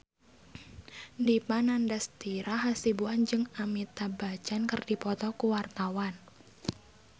Dipa Nandastyra Hasibuan jeung Amitabh Bachchan keur dipoto ku wartawan